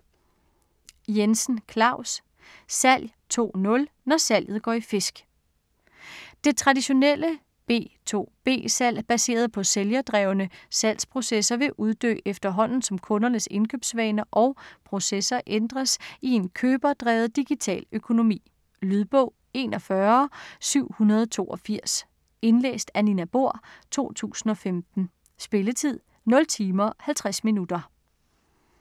Jensen, Claus: Salg 2.0 – når salget går i fisk! Det traditionelle B2B-salg baseret på sælgerdrevne salgsprocesser vil uddø efterhånden som kundernes indkøbsvaner og –processer ændres i en køberdrevet digital økonomi. Lydbog 41782 Indlæst af Nina Bohr, 2015. Spilletid: 0 timer, 50 minutter.